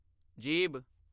ਜੀਭ